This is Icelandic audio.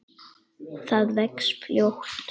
Það vex fljótt.